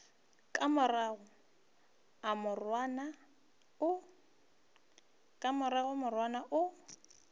ka rego a morwana o